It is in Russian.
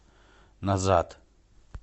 назад